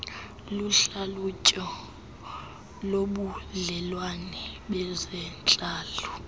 luhlalutyo lobudlelwane bezentlalo